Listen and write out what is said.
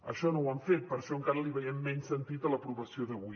això no ho han fet per això encara li veiem menys sentit a l’aprovació d’avui